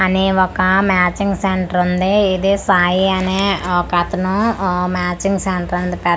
అనీ ఒక మ్యాచింగ్ సెంట్రుంది ఇది సాయి అనే ఒకతను ఊ మ్యాచింగ్ సెంట్రుంది పెట్టడం జరిగిం--